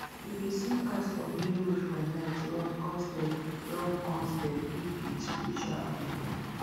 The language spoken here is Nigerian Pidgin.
if you see cat for main road for night run coz dem run coz dem fit be spiritual amebor